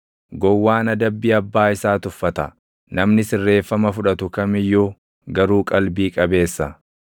Gowwaan adabbii abbaa isaa tuffata; namni sirreeffama fudhatu kam iyyuu garuu qalbii qabeessa.